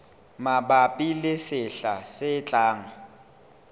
mabapi le sehla se tlang